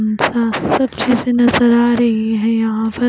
सबसे अच्छे से नजर आ रही है यहां पर--